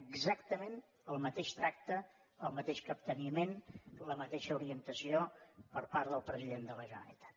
exactament el mateix tracte el mateix capteniment la mateixa orientació per part del president de la generalitat